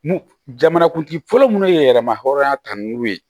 Mun jamana kuntigi fɔlɔ munnu ye yɛlɛma hɔrɔnya ta ni welu ye